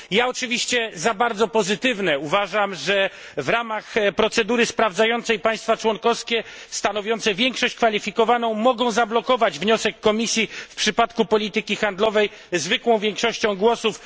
Ja, oczywiście, za bardzo pozytywne uważam, że w ramach procedury sprawdzającej państwa członkowskie, stanowiące większość kwalifikowaną, mogą zablokować wniosek Komisji w przypadku polityki handlowej zwykłą większością głosów.